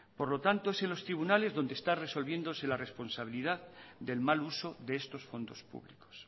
por lo tanto es en los tribunales donde está resolviéndose la responsabilidad del mal uso de estos fondos públicos